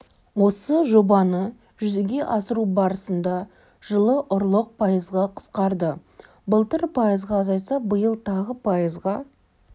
осы жобаны жүзеге асыру барысында жылы ұрлық пайызға қысқарды былтыр пайызға азайса биыл тағы пайызға